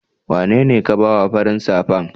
wanene ka ba wa farin safan?